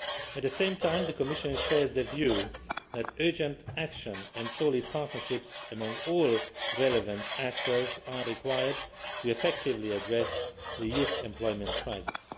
At the same time, the Commission shares the view that urgent action and solid partnerships among all relevant actors are required to effectively address the youth employment crisis.